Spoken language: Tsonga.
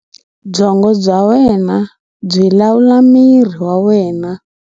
Byongo bya wena byi lawula miri wa wena.